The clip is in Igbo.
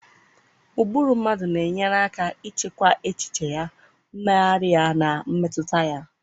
Ụbụrụ mmadụ na-enyere aka ịchịkwa echiche ya, mmegharị ya, na mmetụta ya.